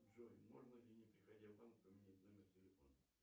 джой можно ли не приходя в банк поменять номер телефона